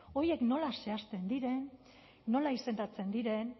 horiek nola zehazten diren nola izendatzen diren